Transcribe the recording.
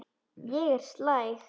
Ég er slæg.